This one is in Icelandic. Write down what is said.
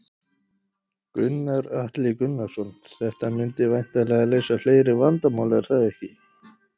Gunnar Atli Gunnarsson: Þetta myndi væntanlega leysa fleiri vandamál, er það ekki?